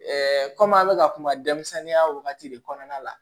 kɔmi an bɛ ka kuma denmisɛnninya wagati de kɔnɔna la